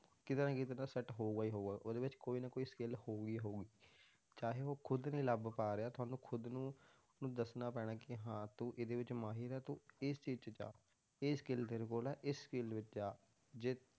ਕਿਤੇ ਨਾ ਕਿਤੇ ਤਾਂ set ਹੋਊਗਾ ਹੀ ਹੋਊਗਾ, ਉਹਦੇ ਵਿੱਚ ਕੋਈ ਨਾ ਕੋਈ skill ਹੋਊਗੀ ਹੀ ਹੋਊਗੀ, ਚਾਹੇ ਉਹ ਖੁੱਦ ਨੀ ਲੱਭ ਪਾ ਰਿਹਾ ਤੁਹਾਨੂੰ ਖੁੱਦ ਨੂੰ ਉਹਨੂੰ ਦੱਸਣਾ ਪੈਣਾ ਕਿ ਹਾਂ ਤੂੰ ਇਹਦੇ ਵਿੱਚ ਮਾਹਿਰ ਹੈ ਤੂੰ ਇਸ ਚੀਜ਼ 'ਚ ਜਾ ਇਹ skill ਤੇਰੇ ਕੋਲ ਹੈ, ਇਸ field ਵਿੱਚ ਜਾ ਜੇ